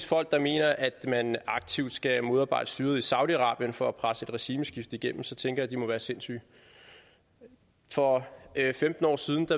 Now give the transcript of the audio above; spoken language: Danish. folk der mener at man aktivt skal modarbejde styret i saudi arabien for at presse et regimeskifte igennem tænker jeg at de må være sindssyge for femten år siden